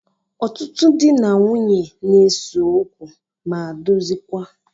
Ọtụtụ dị na nwunye n'ese ókwú ma dozikwaa.